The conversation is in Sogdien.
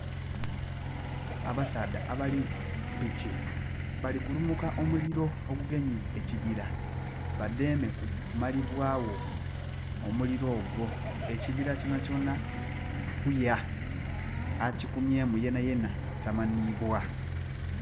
Abasaadha abali ku piki, bali kulumuka omuliro ogugemye ekibira, badheeme kumalibwagho omuliro ogwo. Ekibira kyonakyona kili kuya. Akikumyeemu yena yena tamanhiibwa.